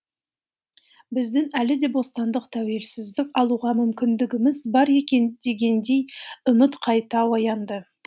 біздің әлі де бостандық тәуелсіздік алуға мүмкіндігіміз бар екен дегендей үміт қайта оянды